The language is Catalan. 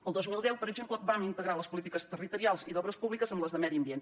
el dos mil deu per exemple vam integrar les polítiques territorials i d’obres públiques amb les de medi ambient